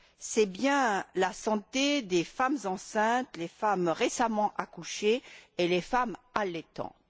c'est bien la santé des femmes enceintes, des femmes récemment accouchées et des femmes allaitantes.